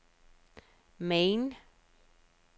Maine